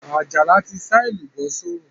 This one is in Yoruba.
Àjàní ti sá èlùbọ́ sórùn